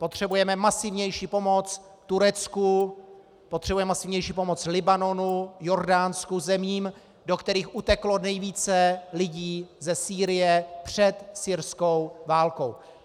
Potřebujeme masivnější pomoc Turecku, potřebujeme masivnější pomoc Libanonu, Jordánsku, zemím, do kterých uteklo nejvíce lidí ze Sýrie před syrskou válkou.